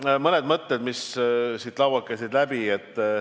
Nüüd mõned mõtted, mis siit saalist läbi käisid.